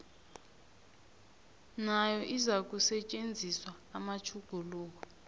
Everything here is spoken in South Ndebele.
nayo izakusetjenziswa namatjhuguluko